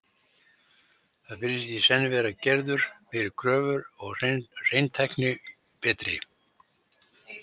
Þar virðast í senn vera gerðar meiri kröfur og hreinsitæknin betri.